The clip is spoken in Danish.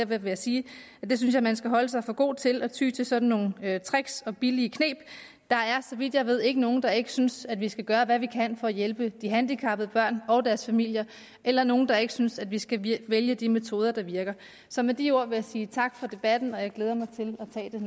vil jeg sige at jeg synes at man skal holde sig for god til at ty til sådan nogle tricks og billige kneb der er så vidt jeg ved ikke nogen der ikke synes at vi skal gøre hvad vi kan for at hjælpe de handicappede børn og deres familier eller nogen der ikke synes at vi skal vælge de metoder der virker så med de ord vil jeg sige tak for debatten og jeg glæder mig til at tage